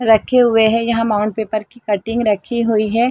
रखे हुए है यहाँ माउंट पेपर की कटिंग रखी हुई है।